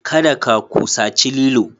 kada ka kusaci lilo.